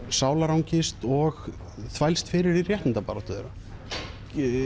sálarangist og þvælst fyrir í réttindabaráttu þeirra